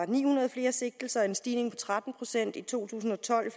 ni hundrede flere sigtelser en stigning på tretten procent i to tusind og tolv